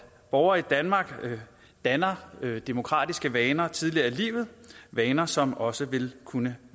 borgere i danmark danner demokratiske vaner tidligere i livet vaner som også vil kunne